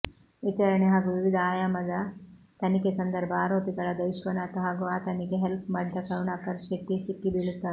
ವಿಚಾರಣೆ ಹಾಗೂ ವಿವಿಧ ಆಯಾಮದ ತನಿಖೆ ಸಂದರ್ಭ ಆರೋಪಿಗಳಾದ ವಿಶ್ವನಾಥ್ ಹಾಗೂ ಆತನಿಗೆ ಹೆಲ್ಪ್ ಮಾಡಿದ ಕರುಣಾಕರ್ ಶೆಟ್ಟಿ ಸಿಕ್ಕಿಬೀಳುತ್ತಾರೆ